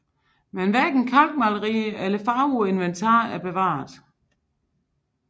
Men hverken kalkmalerier eller farver på inventar er bevaret